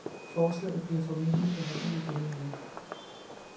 Forslaget bliver formentlig behandlet i denne uge.